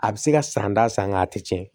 A bɛ se ka san da san a tɛ tiɲɛ